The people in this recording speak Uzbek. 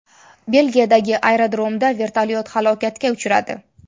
Belgiyadagi aerodromda vertolyot halokatga uchradi.